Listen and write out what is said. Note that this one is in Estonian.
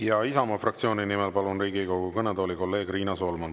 Ja Isamaa fraktsiooni nimel palun Riigikogu kõnetooli kolleeg Riina Solmani.